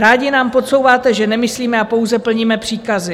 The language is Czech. Rádi nám podsouváte, že nemyslíme a pouze plníme příkazy.